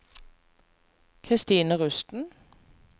Christine Rusten